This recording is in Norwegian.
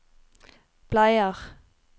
bleier